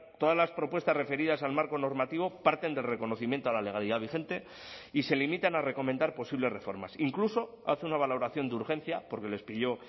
todas las propuestas referidas al marco normativo parten del reconocimiento a la legalidad vigente y se limitan a recomendar posibles reformas incluso hace una valoración de urgencia porque les pilló